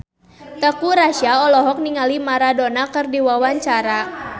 Teuku Rassya olohok ningali Maradona keur diwawancara